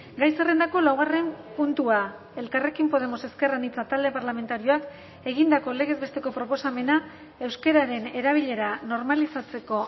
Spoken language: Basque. gai zerrendako laugarren puntua elkarrekin podemos ezker anitza talde parlamentarioak egindako legez besteko proposamena euskararen erabilera normalizatzeko